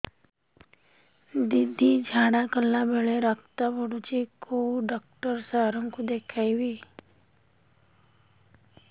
ଦିଦି ଝାଡ଼ା କଲା ବେଳେ ରକ୍ତ ପଡୁଛି କଉଁ ଡକ୍ଟର ସାର କୁ ଦଖାଇବି